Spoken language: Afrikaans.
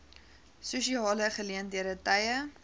sosiale geleenthede tye